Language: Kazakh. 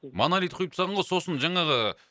монолит құйып тастаған ғой сосын жаңағы